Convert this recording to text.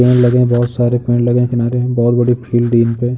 लगे हैं। बहोत सारे पेड़ लगे हैं किनारे बहोत बड़ी फील्ड यहां पे ।